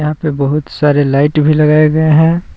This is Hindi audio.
यहां पे बहुत सारे लाइट भी लगाए गए हैं।